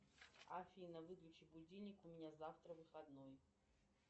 афина выключи будильник у меня завтра выходной